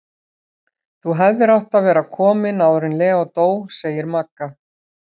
Þú hefðir átt að vera komin áður en Leó dó, segir Magga.